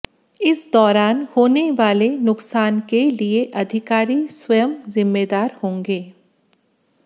इस दौरान होने वाले नुकसान के लिए अधिकारी स्वयं जिम्मेदार होंगे